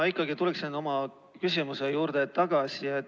Ma ikkagi tulen oma küsimuse juurde tagasi.